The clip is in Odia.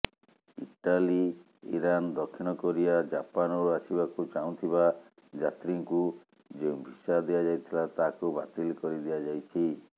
ଇଟାଲୀ ଇରାନ ଦକ୍ଷିଣକୋରିଆ ଜାପାନରୁ ଆସିବାକୁ ଚାହୁଁଥିବା ଯାତ୍ରୀଙ୍କୁ ଯେଉଁ ଭିସା ଦିଆଯାଇଥିଲା ତାହାକୁ ବାତିଲ କରିଦିଆଯାଇଛି